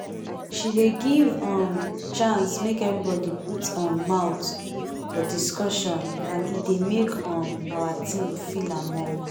she dey give um chance make everybody put um mouth for discussion and e dey make um our team feel among